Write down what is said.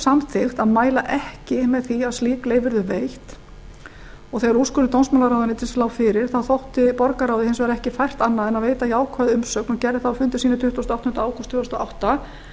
samþykkt að mæla ekki með því að slík leyfi yrðu veitt þegar úrskurður dómsmálaráðuneytisins lá fyrir þótti borgarráði hins vegar ekki fært annað en að veita jákvæða umsögn og gerði það á fundi sínum tuttugasta og áttunda ágúst tvö þúsund og átta